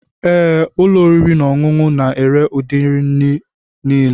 Ee, ụlọ oriri na ọṅụṅụ na-ere ụdị nri niile.